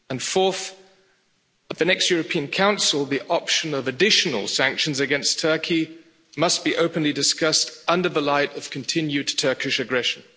Fourth, at the next European Council the option of additional sanctions against Turkey must be openly discussed in the light of continued Turkish aggression.